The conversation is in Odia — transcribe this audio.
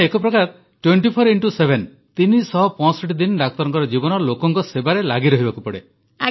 ମାନେ ଏକ ପ୍ରକାର 24 ଏକ୍ସ 7 365 ଦିନ ଡାକ୍ତରଙ୍କ ଜୀବନ ଲୋକଙ୍କ ସେବାରେ ଲାଗିରହିବାକୁ ପଡ଼େ